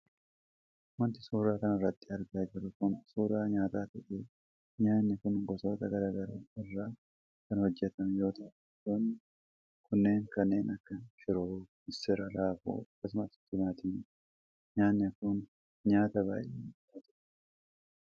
Wanti suuraa kanarratti argaa jirru kun suuraa nyaataa ta'ee nyaanni kun gosoota gara garaa irraa kan hojjatame yoo ta'u gosoonni kunneenis kanneen akka shiroo, missira, raafuu, akkasumas timaatimaadha. Nyaanni kun nyaata baayyee namatti toludha.